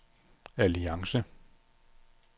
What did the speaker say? alliance